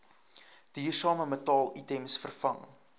duursame metaalitems vervang